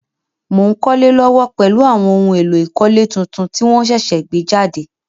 Mo n kólé lówó pèlu àwon oun éló ìkólé tuntun ti won sẹ̀sẹ̀ gbé jàde